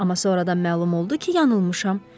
Amma sonradan məlum oldu ki, yanılmışam.